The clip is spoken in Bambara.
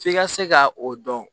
F'i ka se ka o dɔn